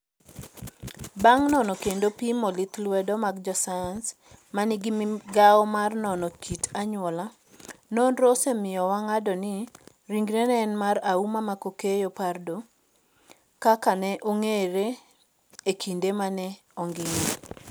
Bang ' nono kendo pimo lith lwedo mag josayans ma nigi migawo mar nono kit anyuola, nonrono osemiyo wang'ado ni ringreno en mar Auma Mckakeyo Pardo, kaka ne ong'eye e kinde ma ne ongima.